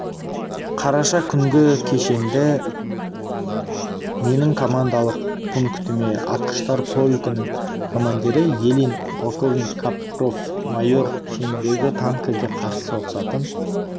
қараша күнгі кешенді менің командалық пунктіме атқыштар полкінің командирі елин полковник капров майор шеніндегі танкіге қарсы соғысатын